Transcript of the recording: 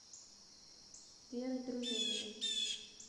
веры дружининой